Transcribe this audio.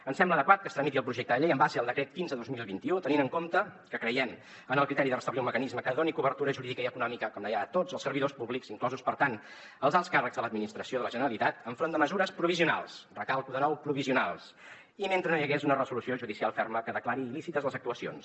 ens sembla adequat que es tramiti el projecte de llei en base al decret quinze dos mil vint u tenint en compte que creiem en el criteri de restablir un mecanisme que doni cobertura jurídica i econòmica com deia a tots els servidors públics inclosos per tant els alts càrrecs de l’administració de la generalitat enfront de mesures provisionals recalco de nou provisionals i mentre no hi hagués una resolució judicial ferma que declari il·lícites les actuacions